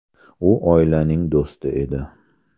U oilaning do‘sti edi.